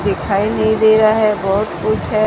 दिखाई नहीं दे रहा है बहुत कुछ है।